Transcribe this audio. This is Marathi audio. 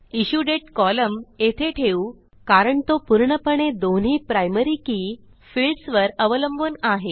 इश्युडेट कॉलम येथे ठेवू कारण तो पूर्णपणे दोन्ही प्रायमरी के फिल्डसवर अवलंबून आहे